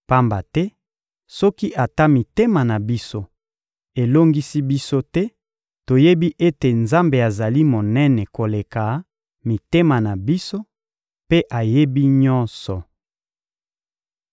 pamba te soki ata mitema na biso elongisi biso te, toyebi ete Nzambe azali monene koleka mitema na biso mpe ayebi nyonso.